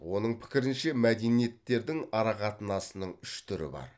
оның пікірінше мәдениеттердің арақатынасының үш түрі бар